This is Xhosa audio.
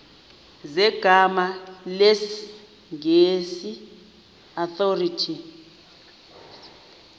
zegama lesngesn authorit